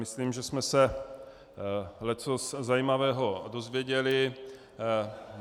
Myslím, že jsme se leccos zajímavého dozvěděli.